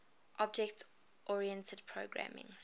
object oriented programming